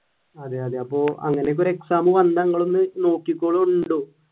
അതെ അതെ അപ്പോൾ അങ്ങനൊക്കെ ഒരു exam വന്നാൽ നിങ്ങളൊന്നു നോക്കിക്കോളൂ